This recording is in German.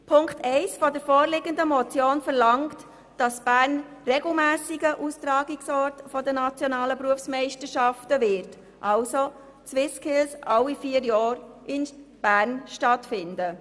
Punkt 1 der vorliegenden Motion verlangt, dass Bern regelmässiger Austragungsort der nationalen Berufsmeisterschaften wird und die SwissSkills damit alle vier Jahre in Bern stattfinden.